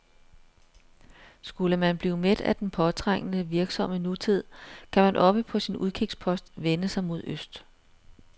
Skulle man blive mæt af den påtrængende, virksomme nutid, kan man oppe på sin udkigspost vende sig mod øst.